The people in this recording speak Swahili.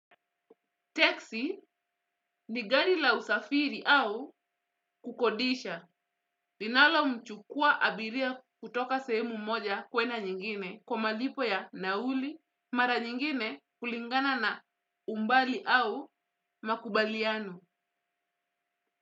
Teksi ni gari la usafiri au kukodisha. Linalo mchukua abiria kutoka sehemu moja kuenda nyingine kwa malipo ya nauli mara nyingine kulingana na umbali au makubaliano.